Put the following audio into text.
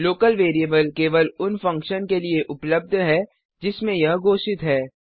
local variable केवल उन function के लिए उपलब्ध है जिसमें यह घोषित है